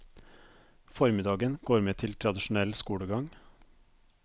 Formiddagen går med til tradisjonell skolegang.